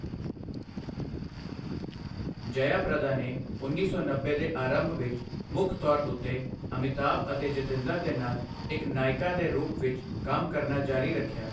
ਜਯਾ ਪ੍ਰਦਾ ਨੇ ਉੱਨੀ ਸੌ ਨੱਬੇ ਦੇ ਅਰੰਭ ਵਿੱਚ ਮੁੱਖ ਤੌਰ ਉੱਤੇ ਅਮਿਤਾਭ ਅਤੇ ਜਤਿੰਦਰ ਦੇ ਨਾਲ ਇੱਕ ਨਾਇਕਾ ਦੇ ਰੂਪ ਵਿੱਚ ਕੰਮ ਕਰਨਾ ਜਾਰੀ ਰੱਖਿਆ।